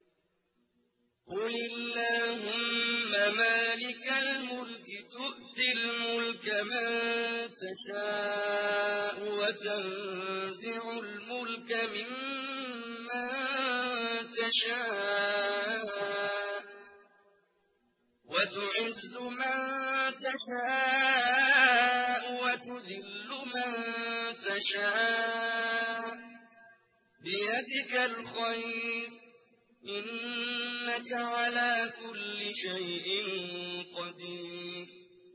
قُلِ اللَّهُمَّ مَالِكَ الْمُلْكِ تُؤْتِي الْمُلْكَ مَن تَشَاءُ وَتَنزِعُ الْمُلْكَ مِمَّن تَشَاءُ وَتُعِزُّ مَن تَشَاءُ وَتُذِلُّ مَن تَشَاءُ ۖ بِيَدِكَ الْخَيْرُ ۖ إِنَّكَ عَلَىٰ كُلِّ شَيْءٍ قَدِيرٌ